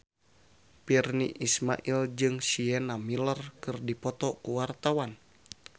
Virnie Ismail jeung Sienna Miller keur dipoto ku wartawan